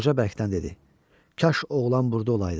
Qoca bərkdən dedi: "Kaş oğlan burda olaydı.